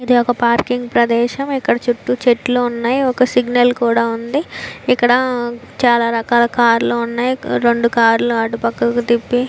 ఇది ఒక పార్కింగ్ ప్రదేశం ఇక్కడ చుట్టూ చెట్లు ఉన్నాయి. ఒక సిగ్నల్ కూడా ఉంది. ఇక్కడ చాలా రకాల కార్ లు ఉన్నాయి. రెండు కార్ లు అటు పక్కకు తిప్పి --